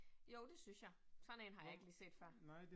Jo, det synes jeg. Sådan en har jeg ikke lige set før